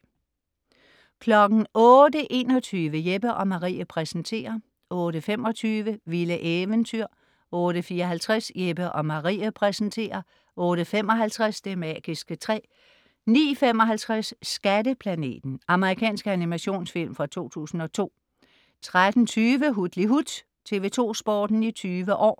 08.21 Jeppe & Marie præsenterer 08.25 Vilde eventyr 08.54 Jeppe & Marie præsenterer 08.55 Det magiske træ 09.55 Skatteplaneten. Amerikansk animationsfilm fra 2002 13.20 Hutlihut. TV2 Sporten i 20 år